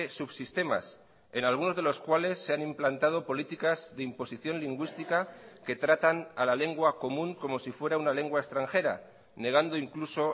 subsistemas en algunos de los cuales se han implantado políticas de imposición lingüística que tratan a la lengua común como si fuera una lengua extranjera negando incluso